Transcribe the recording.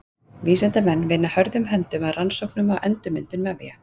Vísindamenn vinna hörðum höndum að rannsóknum á endurmyndun vefja.